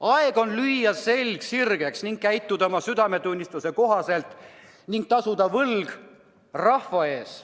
Aeg on lüüa selg sirgeks ja käituda oma südametunnistuse kohaselt ning tasuda võlg rahva ees.